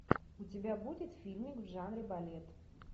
у тебя будет фильмик в жанре балет